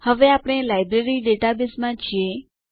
હવે આપણે લાઇબ્રેરી ડેટાબેઝમાં છીએ